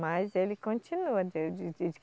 Mas ele continua.